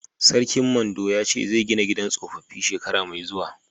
Sarkin Mando ya ce zai gina gidan sohohi shekara mai zuwa.